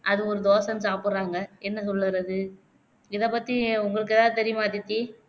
அது ஒரு தோசைன்னு சாப்புட்றாங்க என்ன சொல்லுறது இத பத்தி உங்களுக்கு எதாவது தெரியுமா அதித்தி